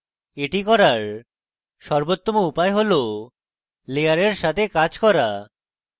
এই করার সর্বোত্তম উপায় হল layers সাথে কাজ করা